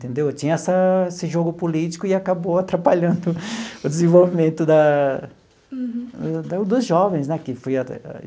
Entendeu tinha essa esse jogo político e acabou atrapalhando o desenvolvimento da da dos jovens né.